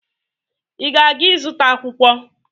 Ị na-aga ịzụta akwụkwọ?